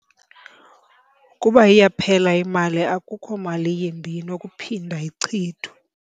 Ukuba iyaphela imali akukho mali yimbi inokuphinda ichithwe.